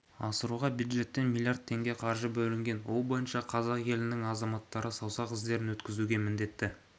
асыруға бюджеттен млрд теңге қаржы бөлінген ол бойынша қазақ елінің азаматтары саусақ іздерін өткізуге міндетті